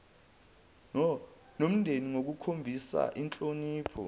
nomndeni ngokukhombisa inhlonipho